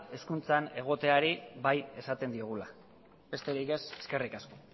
hezkuntzan egoteari bai esaten diogula besterik ez eskerrik asko